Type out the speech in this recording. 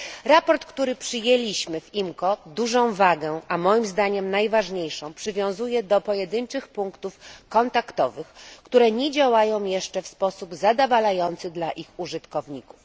Raport, który przyjęliśmy w IMCO, dużą wagę, a moim zdaniem najważniejszą, przywiązuje do pojedynczych punktów kontaktowych, które nie działają jeszcze w sposób zadowalający dla ich użytkowników.